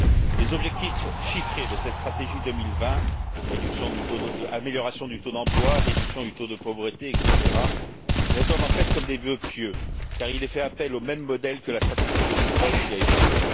Les objectifs chiffrés de cette stratégie 2020 amélioration du taux d'emploi, réduction du taux de pauvreté, etc. résonnent en fait comme des vœux pieux car il est fait appel au même modèle que la stratégie de Lisbonne qui a échoué.